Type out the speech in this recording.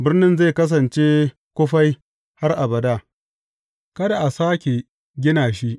Birnin zai kasance kufai har abada, kada a sāke gina shi.